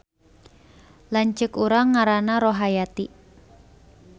Lanceuk urang ngaranna Rohayati